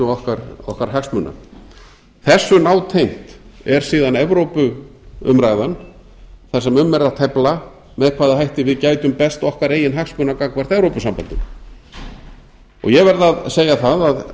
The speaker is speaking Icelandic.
gæslu okkar hagsmuna þessu nátengt er síðan evrópuumræðan þar sem um er að tefla með hvaða hætti við gætum best okkar eigin hagsmuna gagnvart evrópusambandinu ég verð að segja það